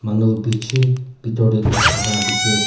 Manu bishi betor dae gushi thaka la dekhi ase.